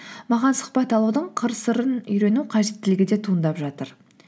маған сұхбат алудың қыр сырын үйрену қажеттілігі де туындап жатыр